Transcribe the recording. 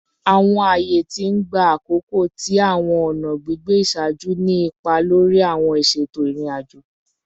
Awọn aaye ti n gba akoko ti awọn ọna gbigbe iṣaaju ni ipa lori awọn iṣeto irin-ajo